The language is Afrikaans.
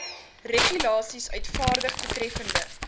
regulasies uitvaardig betreffende